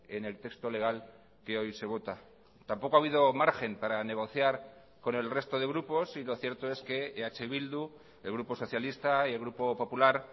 en el texto legal que hoy se vota tampoco ha habido margen para negociar con el resto de grupos y lo cierto es que eh bildu el grupo socialista y el grupo popular